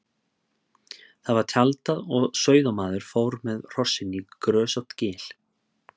Þar var tjaldað og sauðamaður fór með hrossin í grösugt gil.